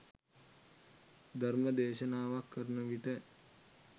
ධර්ම දේශනාවක් කරන විට